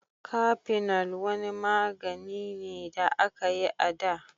Kafinol wani magani ne da aka yi a da.